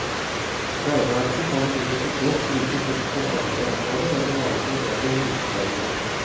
Regnearket kan imidlertid godt brukes innenfor andre områder der man lager modeller med utregninger.